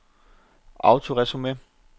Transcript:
autoresume